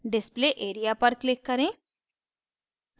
display area पर click करें